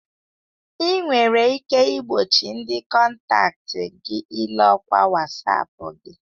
Ị nwere ike igbochi ndị kọntaktị gị ile ọkwa Wasapu gị.